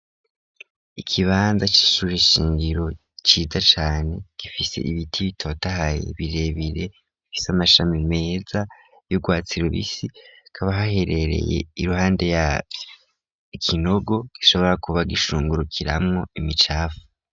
ikibanza c'ishure shingiro ciza cane, gifise ibiti bitotahaye birebire, bifise amashami meza y'urwatsi rubisi hakaba haherereye I ruhande yavyo ikinogo gishobora kuba gishungurukiramwo imicapfu.